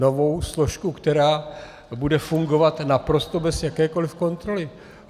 Novou složku, která bude fungovat naprosto bez jakékoliv kontroly.